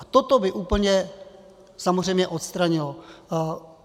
A toto by úplně samozřejmě odstranilo.